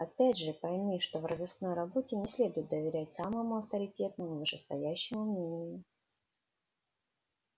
опять же пойми что в розыскной работе не следует доверять самому авторитетному вышестоящему мнению